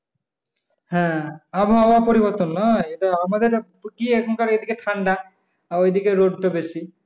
হ্যাঁ আবহাওয়ার পরিবর্তন নয় যেটা আমাদের গিয়ে এখনকার এদিকে ঠান্ডা আর ওইদিকে রোদ টা বেশি।